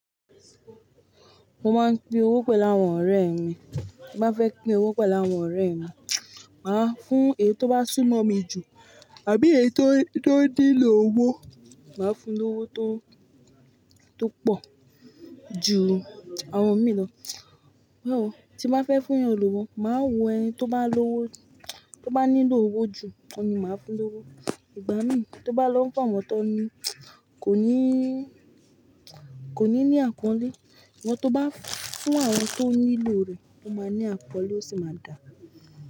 Mo máa ń pín owó pẹ̀lú àwọn ọ̀rẹ́ mi. Bí n bá fẹ́ pín owó pẹ̀lú àwọn ọ̀rẹ́ mi, màá fún èyí tó bá súnmọ́ mi jù àbí èyí tó, tó nílò owó, màá fún lówó tó, tó pọ̀ ju àwọn mi lọ. Ó, tí n bá fẹ́ fún yàn lówó, màá wo ẹniti ó bá lówó, tó bá nílò owó jù, òun ni màá fún lówó. Ìgbà mi tó ń bá lọ fún àwọn tón ní kò ní kò ní ní àpọ̀nlé ṣùgbọ́n tó bá fún àwọn tó nílò rẹ̀, ó máa ní àpọnlé ó sì máa dà.